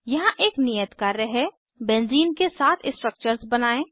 यहाँ एक नियत कार्य है बेंज़ीन के सात स्ट्रक्चर्स बनायें